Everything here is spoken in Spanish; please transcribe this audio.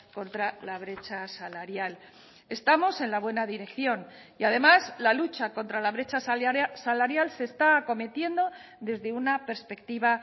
contra la brecha salarial estamos en la buena dirección y además la lucha contra la brecha salarial se está acometiendo desde una perspectiva